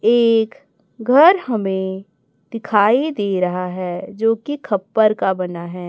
एक घर हमें दिखाई दे रहा है जोकि खप्पर का बना है।